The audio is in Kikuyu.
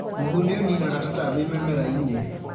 Mũhu nĩ ũninaga tũtambi mĩmera-inĩ.